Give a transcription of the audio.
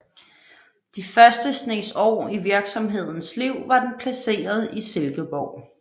De første snes år i virksomhedens liv var den placeret i Silkeborg